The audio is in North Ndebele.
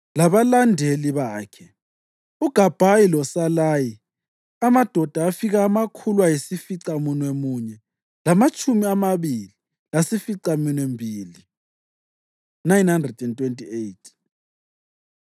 labalandeli bakhe, uGabhayi loSalayi, amadoda afika amakhulu ayisificamunwemunye lamatshumi amabili lasificaminwembili (928).